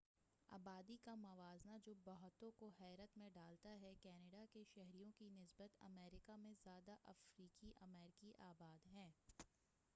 آبادی کا موازنہ جو بہتوں کو حیرت میں ڈالتا ہے کینیڈا کے شہریوں کی نسبت امریکہ میں زیادہ افریقی امریکی آباد ہیں